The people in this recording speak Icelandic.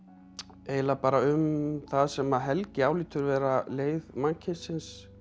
eiginlega bara um það sem Helgi álítur vera leið mannkynsins